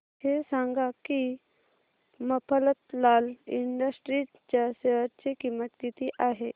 हे सांगा की मफतलाल इंडस्ट्रीज च्या शेअर ची किंमत किती आहे